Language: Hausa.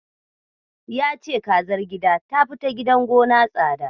Ya ce kazar gida ta fi ta gidan gona tsada.